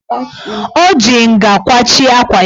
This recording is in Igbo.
O ji nga kwachie akwa ya.